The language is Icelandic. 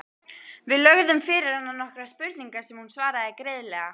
Við lögðum fyrir hana nokkrar spurningar sem hún svaraði greiðlega.